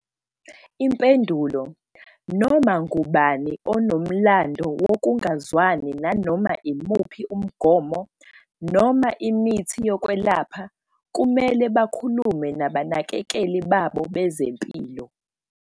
Impendulo- Noma ngubani onomlando wokungazwani nanoma yimuphi umgomo noma imithi yokwelapha kumele bakhulume nabanakekeli babo bezempilo.